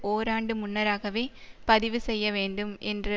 ஓர் ஆண்டு முன்னராகவே பதிவு செய்யவேண்டும் என்ற